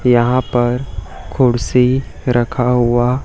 यहां पर कुर्सी रखा हुआ--